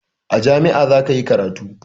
A jami'ah zakayi karatu